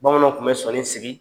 Bamananw tun bɛ sɔnini sigi